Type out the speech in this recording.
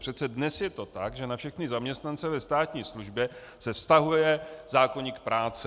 Přece dnes je to tak, že na všechny zaměstnance ve státní službě se vztahuje zákoník práce.